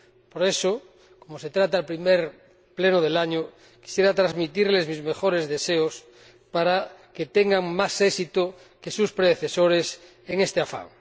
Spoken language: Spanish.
Por eso, como se trata del primer Pleno del año, quisiera transmitirles mis mejores deseos para que tengan más éxito que sus predecesores en este afán.